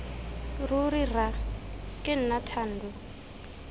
ruri rra ke nna thando